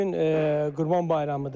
Bu gün Qurban bayramıdır.